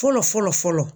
Fɔlɔ fɔlɔ fɔlɔ